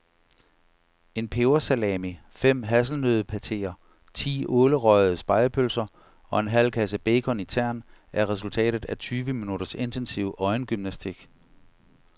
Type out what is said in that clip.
En pebersalami, fem hasselnøddepateer, ti ålerøgede spegepølser og en halv kasse bacon i tern er resultatet af tyve minutters intensiv øjengymnastik.